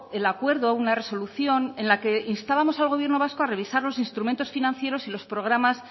el acuerdo una resolución en la que instábamos al gobierno vasco a revisar los instrumentos financieros y los programas